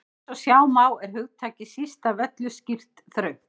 Eins og sjá má er hugtakið síst af öllu skýrt þröngt.